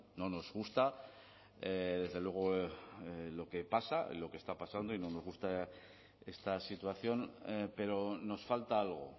no nos gusta desde luego lo que pasa lo que está pasando y no nos gusta esta situación pero nos falta algo